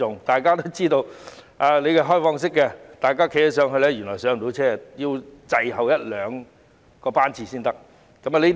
大家也知道，市民站在開放式的月台原來也無法很快登車，要等候一兩個班次才可以登車。